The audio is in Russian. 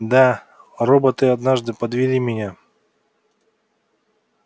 да роботы однажды подвели меня